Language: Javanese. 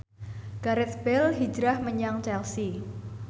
Gareth Bale hijrah menyang Chelsea